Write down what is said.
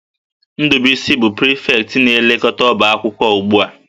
Ndubuisi bụ prịfektị na-elekọta ọba akwụkwọ ugbu a